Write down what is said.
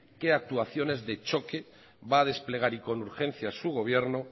qué actuaciones de choque va a desplegar y con urgencia su gobierno